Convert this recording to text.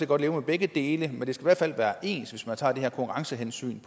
godt leve med begge dele men det skal i hvert fald være ens hvis man tager det her konkurrencehensyn